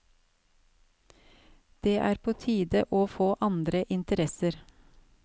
Det er på tide å få andre interesser.